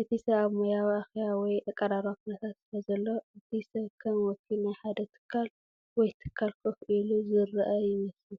እቲ ሰብ ኣብ ሞያዊ፡ ኣኼባ ወይ ኣቀራርባ ኩነታት ስለዘሎ፡ እቲ ሰብ ከም ወኪል ናይ ሓደ ትካል ወይ ትካል ኮፍ ኢሉ ዝረአ ይመስል።